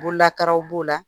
Bololakaraw b'o la